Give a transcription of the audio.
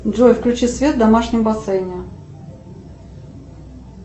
джой включи свет в домашнем бассейне